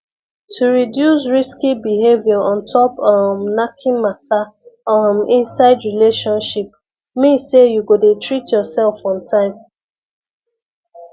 to reduce risky behavior ontop um knacking matter um inside relationship mean say you go dey treat yourself on time